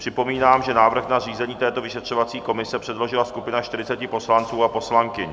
Připomínám, že návrh na zřízení této vyšetřovací komise předložila skupina 40 poslanců a poslankyň.